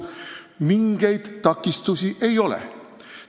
Mingeid takistusi ei ole.